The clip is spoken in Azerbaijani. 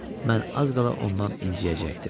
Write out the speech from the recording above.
Mən az qala ondan inciyəcəkdim.